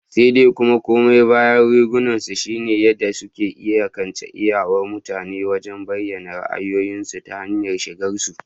Sai dai kuma, koma bayan rigunan shi ne yadda suke iyakance iyawar mutane wajen bayyana ra'ayoyinsu ta hanyar shigarsu.